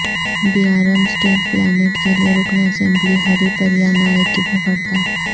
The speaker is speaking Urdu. بیارم اسٹیل پلانٹ کے لیے رکن اسمبلی ہری پریہ نائک کی بھوک ہڑتال